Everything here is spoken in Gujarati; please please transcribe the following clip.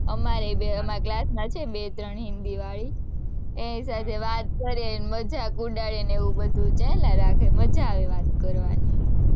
અમારેય બે, અમારા class માં છે, બે ત્રણ હિન્દી વાળી, એની સાથે વાત કરે ને મજાક ઉડાડેને એવું બધું ચાલા રાખે, મજા આવે વાત કરવાની,